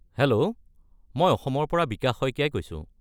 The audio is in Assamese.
হেল্ল'! মই অসমৰ পৰা বিকাশ শইকীয়াই কৈছোঁ।